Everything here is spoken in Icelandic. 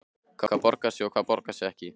Hvað borgar sig og hvað borgar sig ekki?